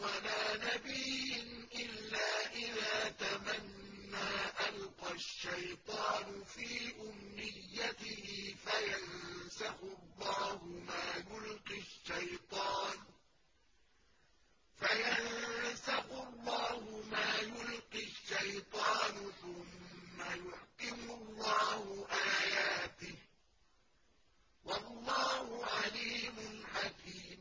وَلَا نَبِيٍّ إِلَّا إِذَا تَمَنَّىٰ أَلْقَى الشَّيْطَانُ فِي أُمْنِيَّتِهِ فَيَنسَخُ اللَّهُ مَا يُلْقِي الشَّيْطَانُ ثُمَّ يُحْكِمُ اللَّهُ آيَاتِهِ ۗ وَاللَّهُ عَلِيمٌ حَكِيمٌ